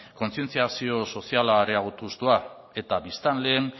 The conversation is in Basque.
kontzientziazio soziala areagotuz doa eta biztanleen